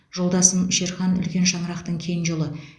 жолдасым шерхан үлкен шаңырақтың кенже ұлы